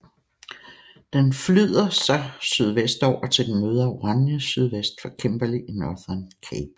Den flyder så sydvestover til den møder Oranje sydvest for Kimberley i Northern Cape